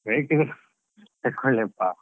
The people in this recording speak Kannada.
ಬೇಕಿದ್ರೆ ತಕೊಳ್ಳಿ ಅಪ್ಪ.